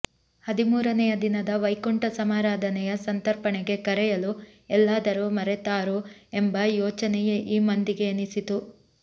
ಹದಿಮೂರನೆಯ ದಿನದ ವೈಕುಂಠ ಸಮಾರಾಧನೆಯ ಸಂತರ್ಪಣೆಗೆ ಕರೆಯಲು ಎಲ್ಲಾದರೂ ಮರೆತಾರೂ ಎಂಬ ಯೋಚನೆಯೇ ಈ ಮಂದಿಗೆ ಎನಿಸಿತು